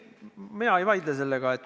Mina ei vaidle selle vastu.